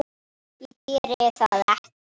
Ég geri það ekki.